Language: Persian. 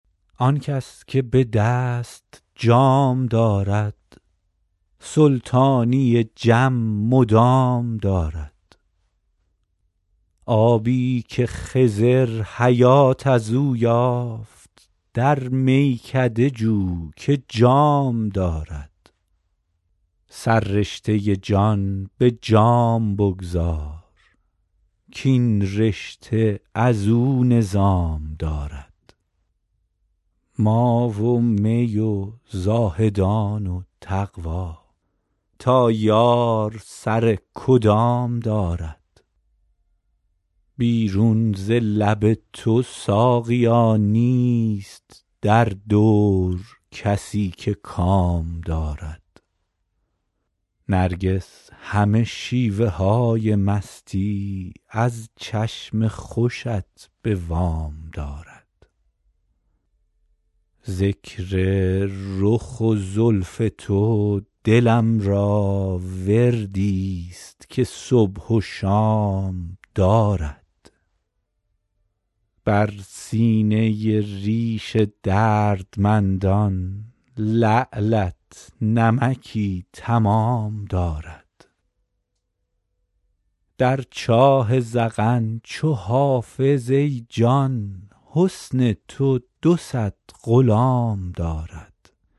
آن کس که به دست جام دارد سلطانی جم مدام دارد آبی که خضر حیات از او یافت در میکده جو که جام دارد سررشته جان به جام بگذار کاین رشته از او نظام دارد ما و می و زاهدان و تقوا تا یار سر کدام دارد بیرون ز لب تو ساقیا نیست در دور کسی که کام دارد نرگس همه شیوه های مستی از چشم خوشت به وام دارد ذکر رخ و زلف تو دلم را وردی ست که صبح و شام دارد بر سینه ریش دردمندان لعلت نمکی تمام دارد در چاه ذقن چو حافظ ای جان حسن تو دو صد غلام دارد